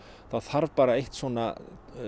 þá þarf bara eitt svona